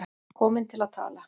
Komin til að tala.